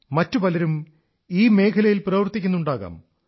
മറ്റു പലരും ഈ മേഖലയിൽ പ്രവർത്തിക്കുന്നുണ്ടാകാം